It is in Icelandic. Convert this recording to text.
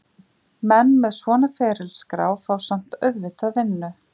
Menn með svona ferilskrá fá samt auðvitað vinnu.